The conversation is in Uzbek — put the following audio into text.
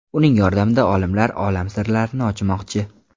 Uning yordamida olimlar olam sirlarini ochmoqchi.